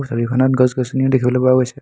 এই ছবিখনত গছ গছনিও দেখিবলৈ পোৱা গৈছে।